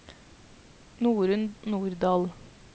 Norunn Nordahl